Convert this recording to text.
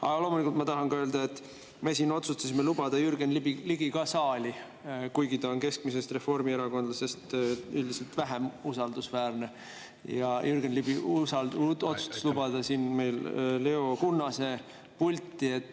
Aga loomulikult tahan ma öelda, et me siin otsustasime lubada ka Jürgen Ligi saali, kuigi ta on keskmisest reformierakondlasest üldiselt vähem usaldusväärne, ja Jürgen Ligi otsustas lubada siin meil Leo Kunnase pulti.